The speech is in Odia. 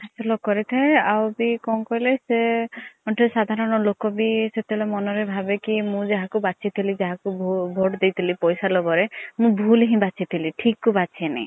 ହାସଲ୍ କରିଥାଏ ଆଉ ବି କଣ କହିଲେ ସେ ବି ଗୋଟେ ସାଧାରଣ ଲୋକ ବି ମନ ରେ ଭାବେ କି ମୁଁ ଯାହାକୁ ବାଛି ଥିଲି ଯାହା କୁ vote ଦେଇଥିଲି ପୈସା ଲୋଭ ରେ ମୁଁ ଭୁଲ୍ ହି ବାଛି ଥିଲି ଠିକ କୁ ବଛିନୀ।